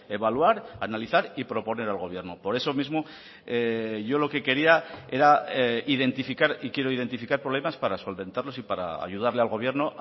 evaluar analizar y proponer al gobierno por eso mismo yo lo que quería era identificar y quiero identificar problemas para solventarlos y para ayudarle al gobierno